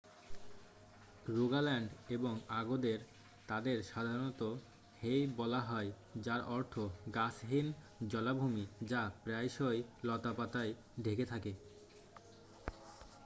"Rogaland এবং আগদের তাদের সাধারণত "হেই" বলা হয় যার অর্থ গাছহীন জলাভূমি যা প্রায়শই লতাপাতায় ঢেকে থাকে।